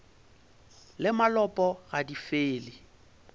le malopo ga di fele